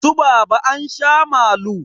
Su baba ansha malu